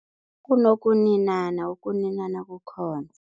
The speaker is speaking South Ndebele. Kunokuninana, ukuninana kukhona.